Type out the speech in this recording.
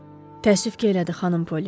Təəssüf ki, elədi, xanım Polli.